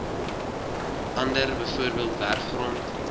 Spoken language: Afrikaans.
ander bv werfgrond